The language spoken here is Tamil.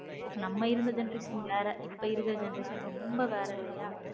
நம்ம இருந்த generation வேற இப்போ இருக்க generation ரொம்ப வேற இல்லையா.